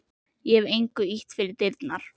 Ég hef engu ýtt fyrir dyrnar.